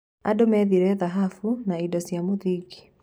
Andũ methire thahabu na indo cia mũthingi.